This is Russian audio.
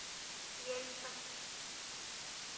ельцом